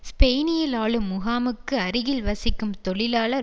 ஸ்பெயினில் ஆளும் முகாமுக்கு அருகில் வசிக்கும் தொழிலாளர்